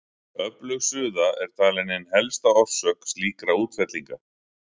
Öflug suða er talin ein helsta orsök slíkra útfellinga.